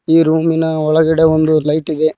ಈ ರೂಮಿನ ಒಳಗಡೆ ಒಂದು ಲೈಟ್ ಇದೆ.